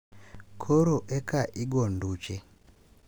Koro eka igo nduche.